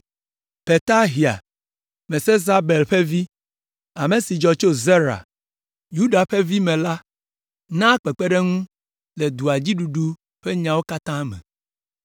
Petahia, Mesezabel ƒe vi, ame si dzɔ tso Zera, Yuda ƒe vi me la naa kpekpeɖeŋu le dua dzi ɖuɖu ƒe nyawo katã me.